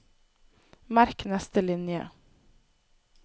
Merk neste linje